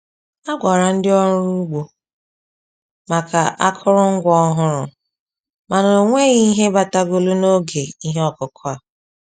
A gwara ndị ọrụ ugbo maka akụrụngwa ọhụrụ, mana ọ nweghị ihe batagolụ n'oge ihe ọkụkụ a.